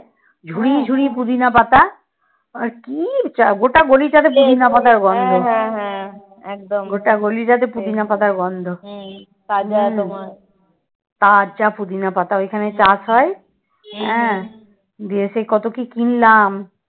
দিয়ে সে কত কি কিনলাম